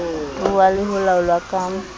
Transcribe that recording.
ruuwa le ho laolwa ka